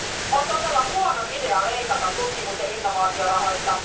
On todella huono idea leikata tutkimus ja innovaatiorahoista.